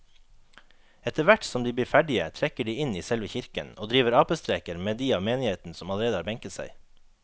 Etterthvert som de blir ferdige trekker de inn i selve kirken og driver apestreker med de av menigheten som allerede har benket seg.